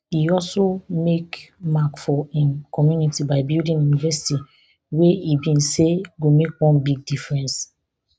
e also make mark for im community by building a university wey e bin say go make one big difference